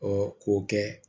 Ɔ k'o kɛ